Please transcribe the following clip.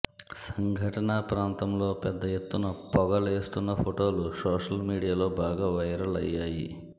సంఘటన ప్రాంతంలో పెద్ద ఎత్తున పొగ లేస్తున్న ఫోటోలు సోషల్ మీడియాలో బాగా వైరల్ అయ్యాయి